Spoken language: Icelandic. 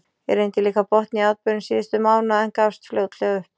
Ég reyndi líka að botna í atburðum síðustu mánaða, en gafst fljótlega upp.